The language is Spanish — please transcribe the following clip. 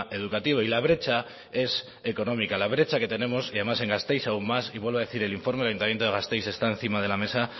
educativo y la brecha es económica la brecha que tenemos y además en gasteiz aún más y vuelvo a decir el informe el ayuntamiento de gasteiz está encima de la mesa